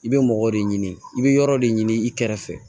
I bɛ mɔgɔw de ɲini i bɛ yɔrɔ de ɲini i kɛrɛfɛ